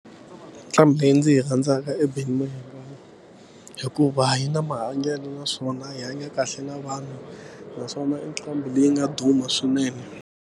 Nqambi leyi ndzi yi rhandzaka i Benny Mayengani hikuva yi na mahanyelo naswona yi hanya kahle na vanhu naswona i nqambi leyi nga duma swinene.